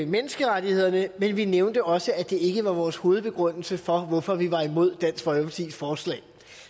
menneskerettighederne men vi nævnte også at det ikke var vores hovedbegrundelse for hvorfor vi var imod dansk folkepartis forslag